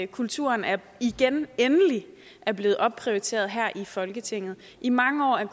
kulturen igen endelig er blevet opprioriteret her i folketinget i mange år er